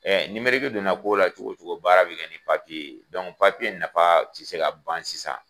donna kow la cogo cogo baara bɛ kɛ ni papiye. papiye nafa ti se ka ban sisan.